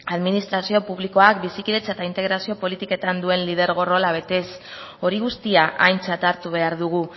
administrazio publikoak bizikidetza eta integrazio politiketan duen lidergo rola betez hori guztia aintzat hartu behar dugu